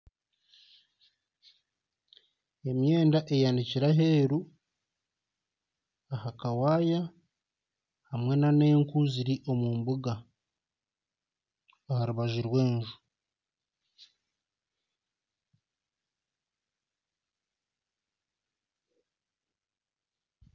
Emyenda eyanikire aheeru aha kawaya hamwe n'enku ziri omu mbuga aha rubaju rwenju.